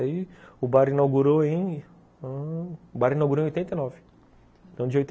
Aí o bar inaugurou em ãh ... o bar inaugurou em oitenta e nove. Então de oitenta